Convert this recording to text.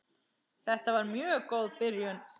Þetta var mjög góð byrjun.